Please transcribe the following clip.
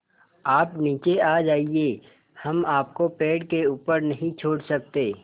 आप नीचे आ जाइये हम आपको पेड़ के ऊपर नहीं छोड़ सकते